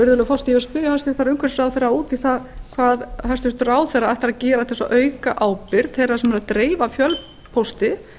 virðulegi forseti ég vil spyrja hæstvirtur umhverfisráðherra út í það hvað hæstvirtur ráðherra ætlar að gera til að auka ábyrgð þeirra sem eru að dreifa fjölpósti